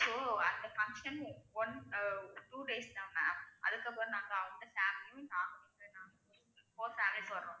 So அந்த function one two days தான் ma'am அதுக்கப்புறம் நாங்க போறோம்.